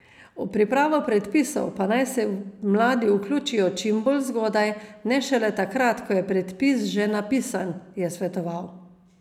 V pripravo predpisov pa naj se mladi vključijo čim bolj zgodaj, ne šele takrat, ko je predpis že napisan, je svetoval.